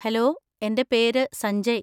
Hello, എന്‍റെ പേര് സഞ്ജയ്.